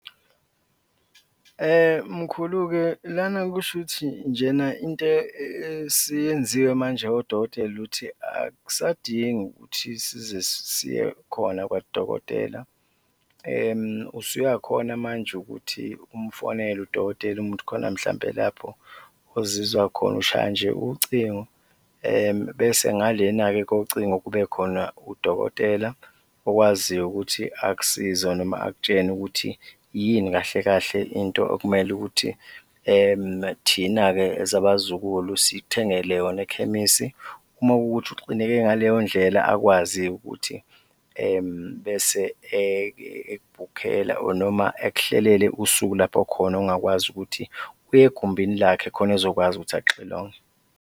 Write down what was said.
Mkhulu-ke lana kushuthi njena into esiyenziwe manje odokotela ukuthi akusadingi ukuthi size siye khona kwadokotela, usuyakhona manje ukuthi umfonele udokotela uma kuwukuthi khona mhlawumbe lapho ozizwa khona. Ushaya nje ucingo bese ngalena-ke kocingo kube khona udokotela okwaziyo ukuthi akusize noma akutshene ukuthi yini kahle kahle into okumele ukuthi thina-ke as abazukulu sikuthengele yona ekhemisi, uma kuwukuthi uxineke ngaleyondlela akwazi-ke ukuthi bese ekubhukhela or noma ekuhlelele usuku lapho khona ongakwazi ukuthi uye egumbini lakhe khona ezokwazi ukuthi akuxilonge.